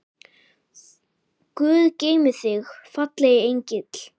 Guð geymi þig, fallegi engill.